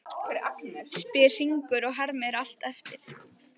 spyr Hringur og hermir allt eftir.